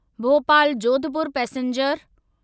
Bhopal Jodhpur passenger